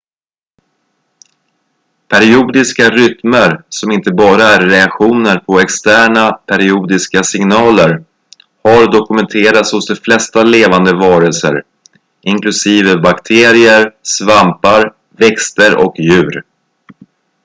periodiska rytmer som inte bara är reaktioner på externa periodiska signaler har dokumenterats hos de flesta levande varelser inklusive bakterier svampar växter och djur